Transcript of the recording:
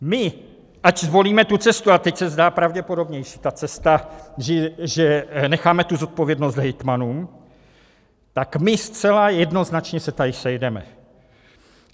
My, ať zvolíme tu cestu - a teď se zdá pravděpodobnější ta cesta, že necháme tu zodpovědnost hejtmanům - tak my zcela jednoznačně se tady sejdeme.